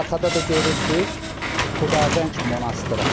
Arxada da görürsünüz Xudavəng monastırı.